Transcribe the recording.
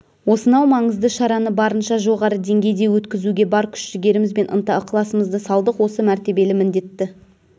осынау маңызды шараны барынша жоғары деңгейде өткізуге бар күш-жігеріміз бен ынта-ықыласымызды салдық осы мәртебелі міндетті